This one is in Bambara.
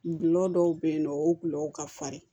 Gulɔ dɔw bɛ yen nɔ o gulɔ ka farin